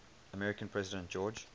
american president george